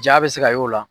Ja bɛ se ka y'o la